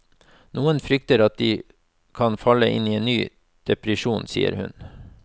Noen frykter at de kan falle inn i en ny depresjon, sier hun.